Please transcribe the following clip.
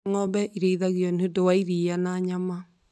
Ng'ombe irĩithagio nĩ ũndũ wa iria na nyama.